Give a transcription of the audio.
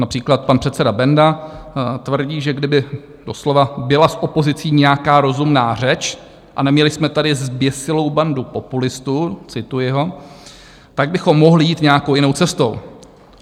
Například pan předseda Benda tvrdí, že kdyby doslova byla s opozicí nějaká rozumná řeč a neměli jsme tady zběsilou bandu populistů - cituji ho - tak bychom mohli jít nějakou jinou cestou.